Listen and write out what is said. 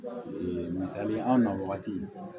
Ee misali an na wagati